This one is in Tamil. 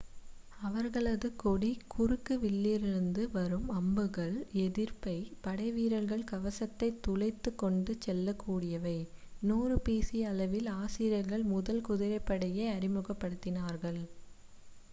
அவர்களது கொடிய குறுக்கு வில்லிலிருந்து வரும் அம்புகள் எதிரிப் படைவீரர்களின் கவசத்தைத் துளைத்துக் கொண்டு செல்லக் கூடியவை 1000 பி சி அளவில் அசிரியர்கள் முதல் குதிரைப்படையை அறிமுகப் படுத்தினார்கள்